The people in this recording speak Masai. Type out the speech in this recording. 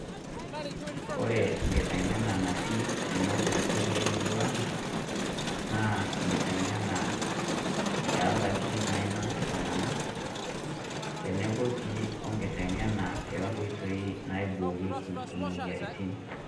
Kore kiteng'ena natii ena sipitali e murrua ang, naa kiteng'ena e ndaaki nainos ltung'ana teneboo sii o kiteng'ena e nkotoi naiboreeki moyarritin.